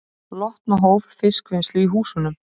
Lotna hóf fiskvinnslu í húsunum